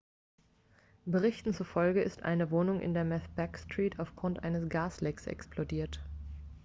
berichten zufolge ist eine wohnung in der macbeth street aufgrund eines gaslecks explodiert